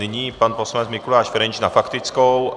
Nyní pan poslanec Mikuláš Ferjenčík na faktickou.